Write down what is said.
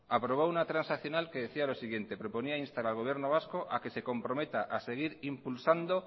aprobó un transaccional que decía lo siguiente proponía instar al gobierno vasco a que se comprometa a seguir impulsando